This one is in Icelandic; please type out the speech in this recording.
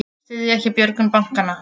Styðja ekki björgun bankanna